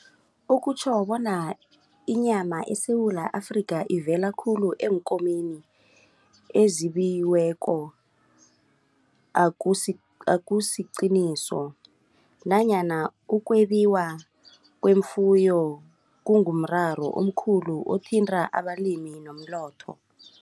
Okutjho bona inyama eSewula Afrika ivela khulu eenkomeni ezibiweko akusiqiniso nanyana ukwebiwa kwefuyo kungumraro omkhulu othinta abalimi nomnotho.